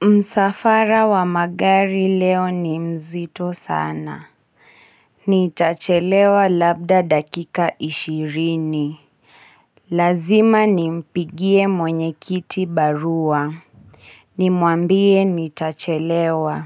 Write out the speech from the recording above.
Msafara wa magari leo ni mzito sana. Nitachelewa labda dakika ishirini. Lazima nimpigie mwenyekiti barua. Nimwambie nitachelewa.